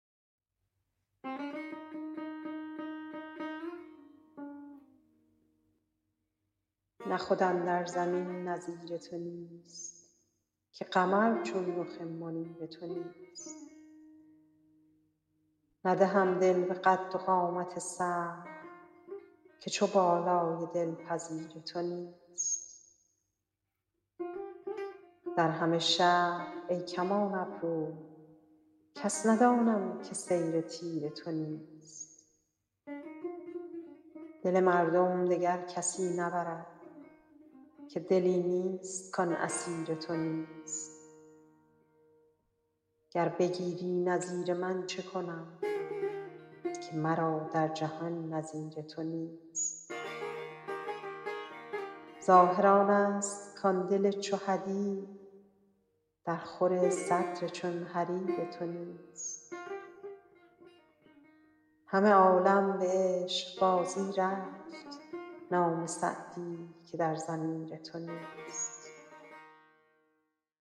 نه خود اندر زمین نظیر تو نیست که قمر چون رخ منیر تو نیست ندهم دل به قد و قامت سرو که چو بالای دلپذیر تو نیست در همه شهر ای کمان ابرو کس ندانم که صید تیر تو نیست دل مردم دگر کسی نبرد که دلی نیست کان اسیر تو نیست گر بگیری نظیر من چه کنم که مرا در جهان نظیر تو نیست ظاهر آنست کان دل چو حدید درخور صدر چون حریر تو نیست همه عالم به عشقبازی رفت نام سعدی که در ضمیر تو نیست